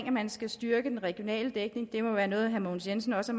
at man skal styrke den regionale dækning må være noget herre mogens jensen også